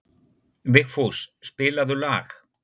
Vigfús, spilaðu lag.